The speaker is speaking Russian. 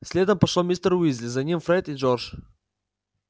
следом пошёл мистер уизли за ним фред и джордж